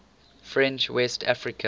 french west africa